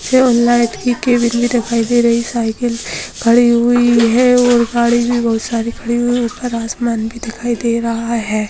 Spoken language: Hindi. और लाइट की केबिल भी दिखाई दे रही साइकिल खड़ी हुई है और गाड़ी भी बहुत सारी खड़ी हुई है ऊपर आसमान भी दिखाई दे रहा है।